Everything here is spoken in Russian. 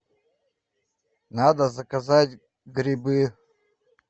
надо заказать грибы